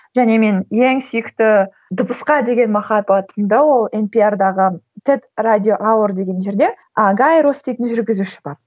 және мен ең сүйікті дыбысқа деген махаббатымды ол емпиардағы тед радио лауэр деген жерде агайрос дейтін жүргізуші бар